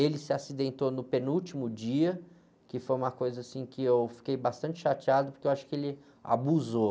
Ele se acidentou no penúltimo dia, que foi uma coisa, assim, que eu fiquei bastante chateado, porque eu acho que ele abusou.